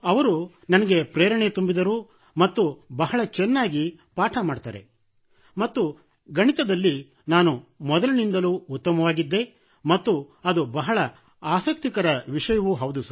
ಅವರು ನನಗೆ ಪ್ರೇರಣೆ ತುಂಬಿದರು ಮತ್ತು ಬಹಳ ಚೆನ್ನಾಗಿ ಪಾಠ ಮಾಡುತ್ತಾರೆ ಮತ್ತು ಗಣಿತದಲ್ಲಿ ನಾನು ಮೊದಲಿನಿಂದಲೂ ಉತ್ತಮವಾಗಿದ್ದೆ ಮತ್ತು ಅದು ಬಹಳ ಆಸಕ್ತಿಕರ ವಿಷಯವೂ ಹೌದು